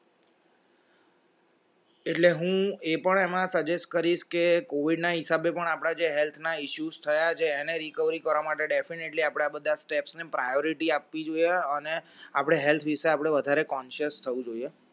એટલે હું એ પણ એમાં suggest કરીશ કે covid હિસાબે પણ આપણા જે health issue થયા છે એને recovery કરવા માટે definitely આપણા બધા steps ને priority આપવી જોઈએ અને આપણે health વિષે આપણે વધારે conscious થવું જોઈએ